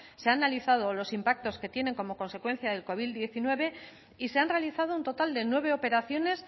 se ha analizado los impactos que tienen como consecuencia el covid diecinueve y se han realizado un total de nueve operaciones